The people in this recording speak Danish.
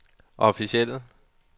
officielle